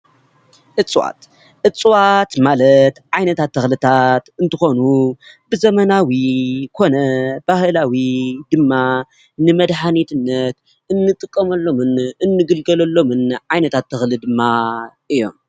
እፅዋት፡- እፅዋት ማለት ዓይነታት ተክልታት እንትኮኑ ብዘመናዊ ኮነ ብባህላዊ ድማ ንመድሓኒትነት እንጥቀመሎምን እንግልገለሎምን ዓይነታት ተክልታት ድማ እዮም፡፡